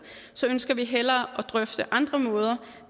ønsker vi hellere at drøfte andre måder